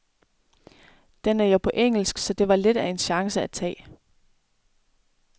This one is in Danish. Den er jo på engelsk, så det var lidt af en chance at tage.